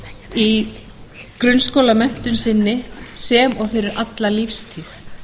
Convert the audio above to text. í grunnskólamenntun sinni sem og fyrir alla lífstíð